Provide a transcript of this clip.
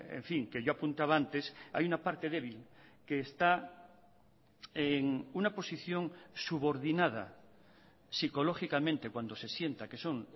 en fin que yo apuntaba antes hay una parte débil que está en una posición subordinada psicológicamente cuando se sienta que son